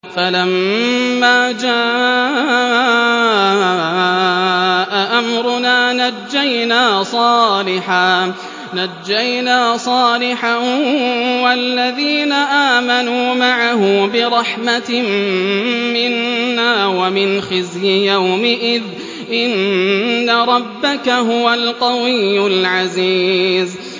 فَلَمَّا جَاءَ أَمْرُنَا نَجَّيْنَا صَالِحًا وَالَّذِينَ آمَنُوا مَعَهُ بِرَحْمَةٍ مِّنَّا وَمِنْ خِزْيِ يَوْمِئِذٍ ۗ إِنَّ رَبَّكَ هُوَ الْقَوِيُّ الْعَزِيزُ